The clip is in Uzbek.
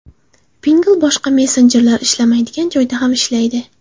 Pinngle boshqa messenjerlar ishlamaydigan joyda ham ishlaydi!